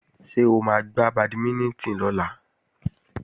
Ṣé o máa gbá bàdímínítìn lọ́la?